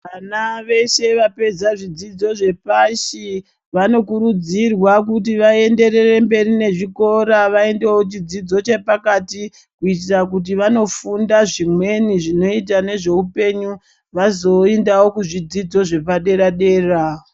Vana vese vapedza zvidzidzo zvepashi, vanokurudzirwa kuti vaenderere mberi nezvikora vaindewo chidzidzo chepakati kuitira kuti vanofunda zvimweni zvinoita nezvehupenyu vazoinda kuzvidzidzo zvepa dera dera.